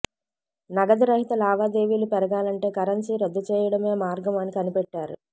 నగదు రహిత లావాదేవీలు పెరగాలంటే కరెన్సీ రద్దు చేయడమే మార్గం అని కనిపెట్టారు